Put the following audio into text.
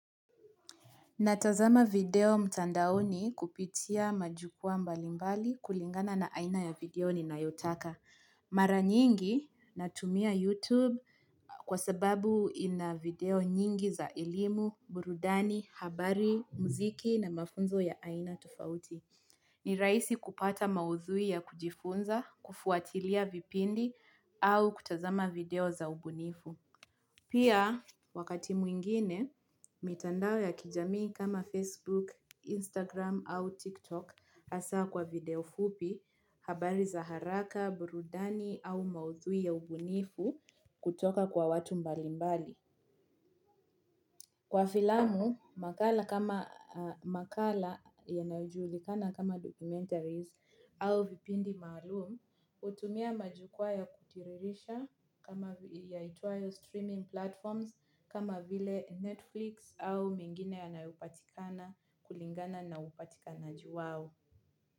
Natazama video mtandaoni kupitia majukua mbali mbali kulingana na aina ya video ni nayotaka. Mara nyingi natumia YouTube kwa sababu ina video nyingi za elimu burudani habari muziki na mafunzo ya aina tofauti. Ni rahisi kupata maudhui ya kujifunza, kufuatilia vipindi au kutazama video za ubunifu. Pia, wakati mwingine, mitandao ya kijamii kama Facebook, Instagram au TikTok hasa kwa video fupi habari za haraka, burudani au maudhui ya ubunifu kutoka kwa watu mbali mbali. Kwa filamu, makala kama makala ya nayojulikana kama documentaries au vipindi maalum, hutumia majukwaa ya kutiririsha kama yaitwayo streaming platforms kama vile Netflix au mengine ya nayopatikana kulingana naupatikana jiwao.